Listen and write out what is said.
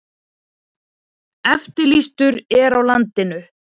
Eftirlýstur er á landinu